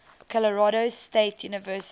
colorado state university